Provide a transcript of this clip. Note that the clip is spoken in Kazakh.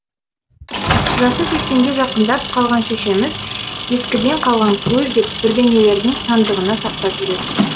жасы сексенге жақындап қалған шешеміз ескіден қалған көз деп бірдеңелерді сандығына сақтап жүретін